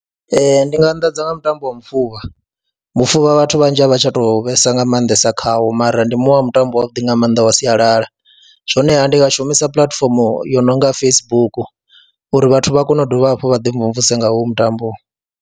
Ee, ndi nga a, nḓadze nga mutambo wa mufuvha mufuvha vhathu vhanzhi a vha tsha tou vhesa nga maanḓesa khawo mara ndi muṅwe wa mutambo wavhuḓi nga maanḓa wa sialala, honeha ndi nga shumisa puḽatifomo yo no nga Facebook uri vhathu vha kone u dovha hafhu vha ḓimvumvuse nga hoyu mutambo.